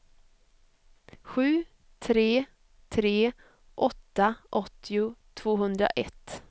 sju tre tre åtta åttio tvåhundraett